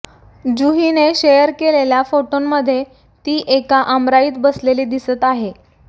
जुहीने share केलेल्या फोटोंमध्ये ती एका आमराईत बसलेली दिसत आहे